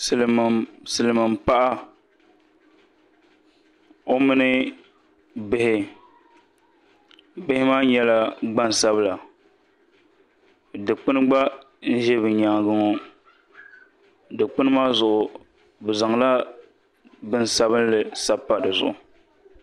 Silmiin paɣa o mini bihi bihi maa nyɛla gbansabila dikpuni gba n ʒi bi nyaangi ŋɔ dikpuni maa zuɣu bi zaŋla bini sabinli sabi pa dizuɣu